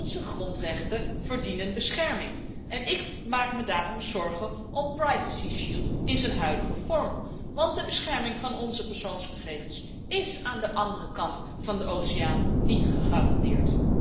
Onze grondrechten verdienen bescherming en ik maak me daarom zorgen over het privacyschild in zijn huidige vorm, want de bescherming van onze persoonsgegevens is aan de andere kant van de oceaan niet gegarandeerd.